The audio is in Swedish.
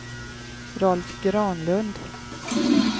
Rolf Granlund